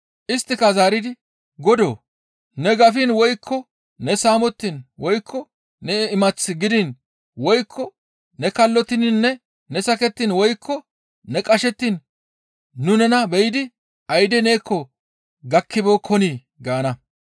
«Isttika zaaridi, ‹Godoo! Ne gafiin woykko ne saamettiin woykko ne imath gidiin woykko ne kallottininne ne sakettiin woykko ne qashettiin nu nena be7idi ayde neekko gakkibeekkonii?› gaana.